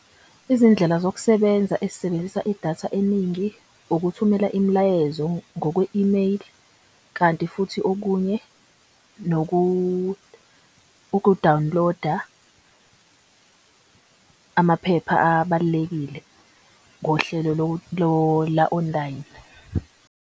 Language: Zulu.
Izindlela zokusebenza ezisebenzisa idatha eningi ukuthumela imilayezo ngokwe imeyili. Kanti futhi okunye uku-download-a amaphepha abalulekile ngohlelo la-online.